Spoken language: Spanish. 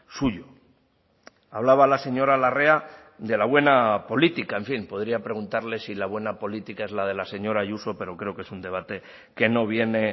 suyo hablaba la señora larrea de la buena política en fin podría preguntarle si la buena política es la de la señora ayuso pero creo que es un debate que no viene